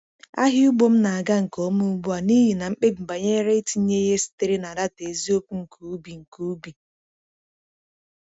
Ahịa ugbo m na-aga nke ọma ugbu a n’ihi na mkpebi banyere itinye ihe sitere na data eziokwu nke ubi. nke ubi.